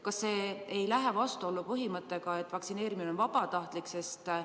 Kas see ei lähe vastuollu põhimõttega, et vaktsineerimine on vabatahtlik?